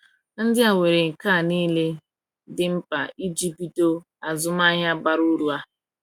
Ndị a nwere nka niile dị mkpa iji bido azụmahịa bara uru a.